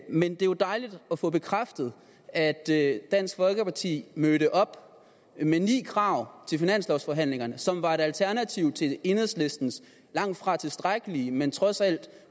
men det er dejligt at få bekræftet at at dansk folkeparti mødte op med ni krav til finanslovforhandlingerne som var et alternativ til enhedslistens langtfra tilstrækkelige men trods alt